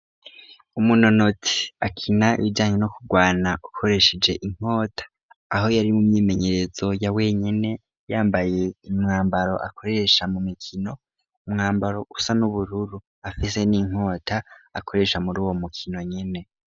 Umunonotsi akina ibijanye no kurwana ukoresheje inkota aho yari mu myimenyerezo ya wenyene yambaye imwambaro akoresha mu mikino, umwambaro usa n'ubururu. Afise n'inkota akoresha muri uwo mukino nyene.